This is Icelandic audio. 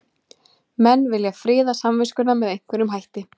Menn vilja friða samviskuna með einhverjum hætti.